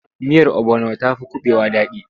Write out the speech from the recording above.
Miyar obono ta fi kuɓewa daɗi.